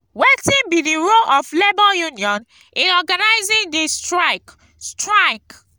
wetin be di role of labor union in organizing di strike? strike?